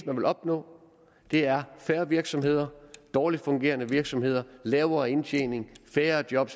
man vil opnå er færre virksomheder dårligt fungerende virksomheder lavere indtjening færre job